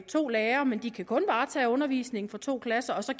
to lærere men de kan kun varetage undervisningen for to klasser og så